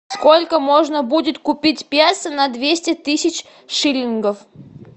сколько можно будет купить песо на двести тысяч шиллингов